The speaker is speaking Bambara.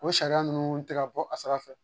O sariya ninnu tɛ ka bɔ a sira fɛ